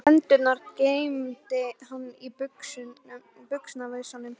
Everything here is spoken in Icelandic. Hendurnar geymdi hann í buxna vösunum.